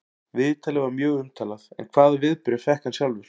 Viðtalið var mjög umtalað en hvaða viðbrögð fékk hann sjálfur?